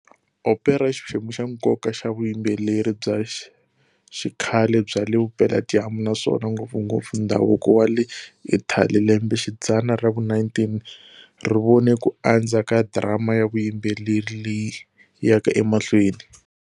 Opera i xiphemu xa nkoka xa vuyimbeleri bya xikhale bya le Vupela-dyambu, naswona ngopfungopfu ndhavuko wa le Italy. Lembexidzana ra vu-19 ri vone ku andza ka drama ya vuyimbeleri leyi yaka emahlweni.